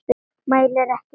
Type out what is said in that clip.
Mælir ekki orð.